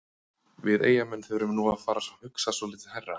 Við Eyjamenn þurfum nú að fara að hugsa svolítið hærra.